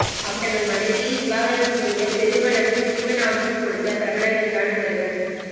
அப்படி தங்கள் மனைவியை விவாகரத்து செய்ய பெருமளவு ஜீவனாம்சம் கொடுத்த பிரபலங்கள் தான் இவர்கள்